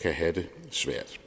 kan have det svært